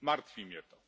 Martwi mnie to.